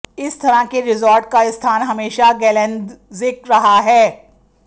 इस तरह के रिज़ॉर्ट का स्थान हमेशा गेलेंदज़िक रहा है